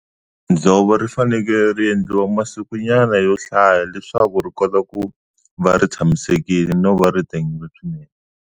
Dzovo ri fanekele ri endliwa masikunyana yo hlaya leswaku ri kota ku va ri tshamisekile no va ri tengile swinene.